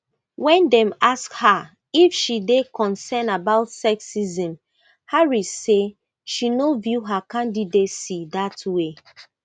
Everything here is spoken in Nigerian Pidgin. when dem ask her if she dey concerned about sexism harris say she no view her candidacy dat way